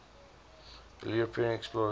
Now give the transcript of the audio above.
early european explorers